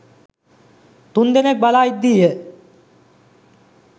තුන්දෙනෙක්‌ බලා ඉද්දීය.